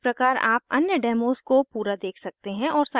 उसी प्रकार आप अन्य डेमोस को पूरा देख सकते हैं और साइलैब जाँच सकते हैं